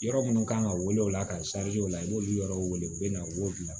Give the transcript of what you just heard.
Yɔrɔ minnu kan ka wele o la ka o la i b'olu yɔrɔw wele u bɛ na wo bila